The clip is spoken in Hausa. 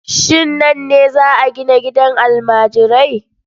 Shin nan ne za a gina gidan almajirai?